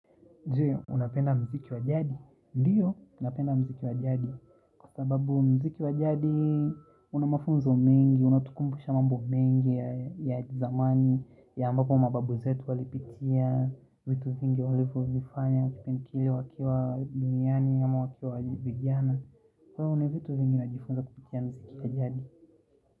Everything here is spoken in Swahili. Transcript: Je, unapenda mziki wajadi. Ndiyo, napenda mziki wajadi. Kwa sababu mziki wa jadi, una mafunzo mengi, unatukumbusha mambo mengi ya zamani, ya ambapo mababu zetu walipitia, vitu vingi walivyovifanya, kipindi kile wakiwa duniani ama wakiwa vijana. Kwa hiyo, kuna vitu vingi najifunza kupitia mziki wa jadi.